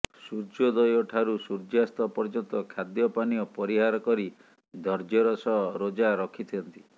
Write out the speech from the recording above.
ସୂର୍ଯ୍ୟୋଦୟଠାରୁ ସୂର୍ଯ୍ୟାସ୍ତ ପର୍ଯ୍ୟନ୍ତ ଖାଦ୍ୟ ପାନୀୟ ପରିହାର କରି ଧର୍ଯ୍ୟର ସହ ରୋଜା ରଖିଥାନ୍ତି